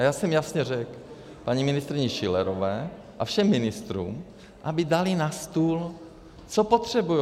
A já jsem jasně řekl paní ministryni Schillerové a všem ministrům, aby dali na stůl, co potřebují.